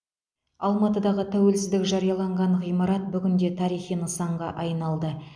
алматыдағы тәуелсіздік жарияланған ғимарат бүгінде тарихи нысанға айналды